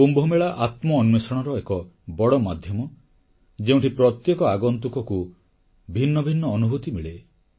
କୁମ୍ଭମେଳା ଆତ୍ମ ଅନ୍ୱେଷଣର ଏକ ବଡ଼ ମାଧ୍ୟମ ଯେଉଁଠି ପ୍ରତ୍ୟେକ ଆଗନ୍ତୁକକୁ ଭିନ୍ନ ଭିନ୍ନ ଅନୁଭୂତି ମିଳେ